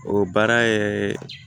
O baara ye